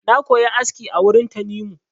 Na koya aski a wurin Tanimu.